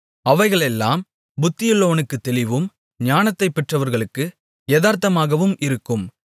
அவைகளெல்லாம் புத்தியுள்ளவனுக்குத் தெளிவும் ஞானத்தைப் பெற்றவர்களுக்கு எதார்த்தமாகவும் இருக்கும்